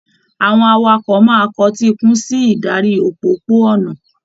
Àwọn awakọ̀ máa kọtíikún sí ìdarí òpópó-ònà.